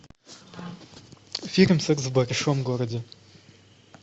фильм секс в большом городе